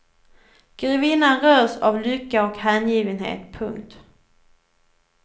Grevinnan rös av lycka och hängivenhet. punkt